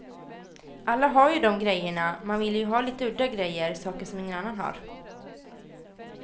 Alla har ju dom grejerna, man vill ju ha lite udda grejer, saker som ingen annan har.